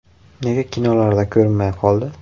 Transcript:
Nega kinolarda ko‘rinmay qoldi?.